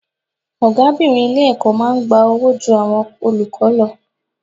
Ọ̀gábìnrin ilé-ẹ̀kọ́ máa ń gba owó ju àwọn olùkọ́ lọ.